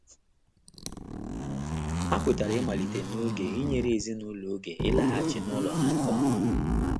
Ha kwetara ịmalite n'oge inyere ezinụlọ oge ịlaghachi n'ụlọ ha nke ọma.